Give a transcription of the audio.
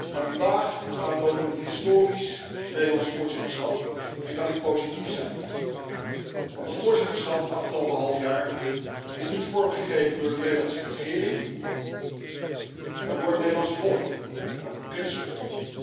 Maar vandaag gaat het over een historisch Nederlands voorzitterschap en kan ik positief zijn, want het voorzitterschap het afgelopen halfjaar is niet vormgegeven door de Nederlandse regering, maar door het Nederlandse volk en ook het Britse volk.